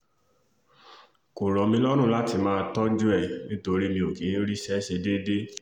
kò rọ̀ mí lọ́rùn láti máa tọ́jú ẹ̀ nítorí mi ò kì í ríṣẹ́ ṣe déédé